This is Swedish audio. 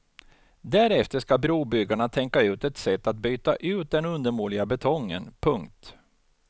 Därefter ska brobyggarna tänka ut ett sätt att byta ut den undermåliga betongen. punkt